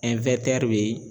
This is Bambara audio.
be